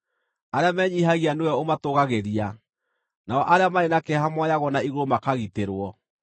Arĩa menyiihagia nĩwe ũmatũũgagĩria, nao arĩa marĩ na kĩeha moyagwo na igũrũ makagitĩrwo.